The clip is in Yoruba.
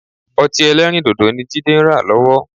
Ọtí-ẹlẹ́rìndodo ni Jídé ń rà lọ́wọ́